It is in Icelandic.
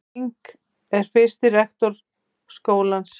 Ling var fyrsti rektor skólans.